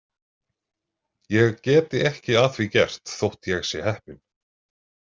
Ég geti ekki að því gert þótt ég sé heppinn.